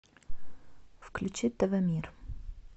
включи тв мир